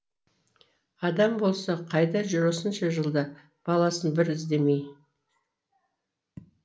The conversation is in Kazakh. адам болса қайда жүр осынша жылда баласын бір іздемей